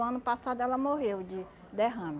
O ano passado ela morreu de derrame.